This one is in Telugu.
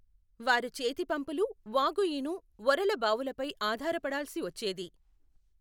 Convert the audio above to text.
వారు చేతిపంపులు, వాగుఈను, ఒరల బావులపై ఆధారపడాల్సి వచ్చేది.